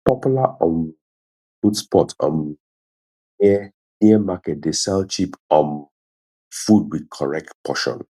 popular um food spot um near near market dey serve cheap um food with correct portion